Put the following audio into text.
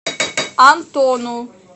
антону